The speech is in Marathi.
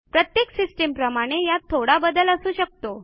प्रत्येक सिस्टीमप्रमाणे यात थोडा बदल असू शकतो